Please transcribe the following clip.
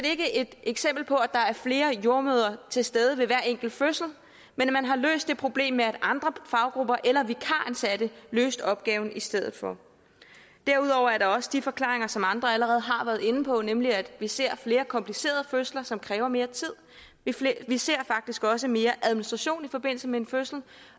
ikke et eksempel på at der er flere jordemødre til stede ved hver enkelt fødsel men man har løst det problem med at andre faggrupper eller vikaransatte løste opgaven i stedet for derudover er der også de forklaringer som andre allerede har været inde på nemlig at vi ser flere komplicerede fødsler som kræver mere tid vi ser faktisk også mere administration i forbindelse med en fødsel